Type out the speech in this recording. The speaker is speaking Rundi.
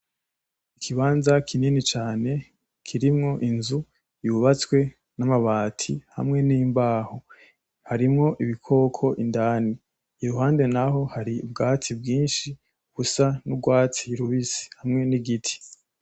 Ikibanza kinini cane kirimwo inzu yubatswe ,n'amabati hamwe n'imbaho harimwo ibikoko indani ,iruhande naho hari ubwatsi bwinshi busa n'urwatsi rubisi hamwe n'igiti.